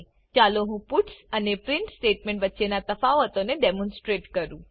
ચાલો હું પટ્સ અને પ્રિન્ટ સ્ટેટમેંટ વચ્ચેના તફાવતો ને ડેમોનસ્ટ્રેટ કરું